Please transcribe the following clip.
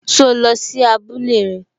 So lọ sí abúlé rẹ?